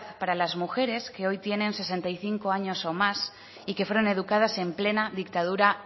para las mujeres que hoy tienen sesenta y cinco años o más y que fueron educadas en plena dictadura